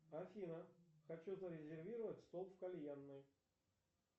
афина хочу зарезервировать стол в кальянной